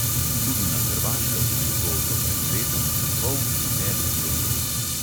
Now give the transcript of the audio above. Tudi na hrvaškem je bil to do pred letom in pol velik problem.